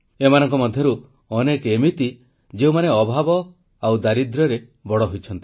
ଏମାନଙ୍କ ମଧରୁ ଅନେକ ଏମିତି ଯେଉଁମାନେ ଅଭାବ ଓ ଦାରିଦ୍ର୍ୟରେ ବଡ଼ ହୋଇଛନ୍ତି